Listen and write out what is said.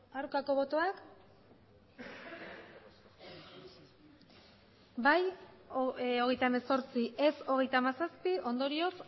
aurkako botoak bai hogeita hemezortzi ez hogeita hamazazpi ondorioz